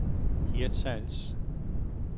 Hirtshals